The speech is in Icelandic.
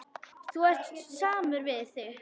Þú ert samur við þig!